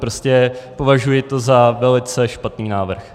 Prostě považuji to za velice špatný návrh.